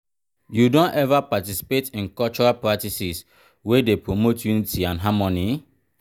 you don ever participate in cultural practices wey dey promote unity and harmony?